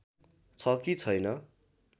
छ कि छैन